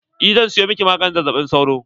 Eh zan siyo miki maganin zazzaɓin sauro.